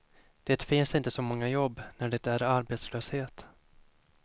Det finns inte så många jobb, när det är arbetslöshet.